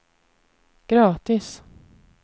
gratis